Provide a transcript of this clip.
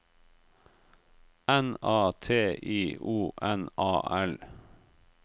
N A T I O N A L